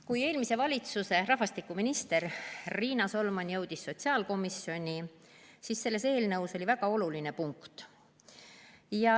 Kui eelmise valitsuse rahvastikuminister Riina Solman jõudis sotsiaalkomisjoni, siis oli selles eelnõus väga oluline punkt.